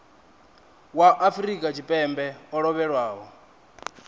wa afrika tshipembe o lovhelaho